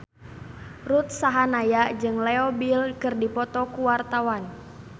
Ruth Sahanaya jeung Leo Bill keur dipoto ku wartawan